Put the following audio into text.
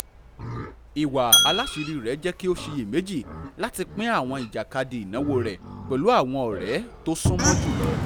ìwà alásiírí rẹ̀ jẹ́ kí ó ṣìyẹ̀méjì láti pín àwọn ìjàkadì ìnáwó rẹ̀ pẹ̀lú àwọn ọ̀rẹ́ tó súnmọ́ jùlọ